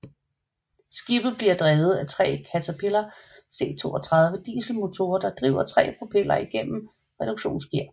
Skibet bliver drevet af tre Caterpillar C32 dieselmotorer der driver tre propeller igennem reduktionsgear